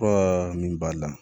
Fura min b'a la